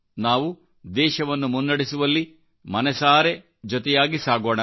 ನಾವು ದೇಶವನ್ನು ಮುನ್ನಡೆಸುವಲ್ಲಿ ಮನಸಾರೆ ಜೊತೆಯಾಗಿ ಸಾಗೋಣ